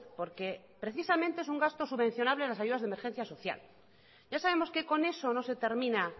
porque precisamente es un gasto subvencionable en las ayudas de emergencia social ya sabemos que con eso no se termina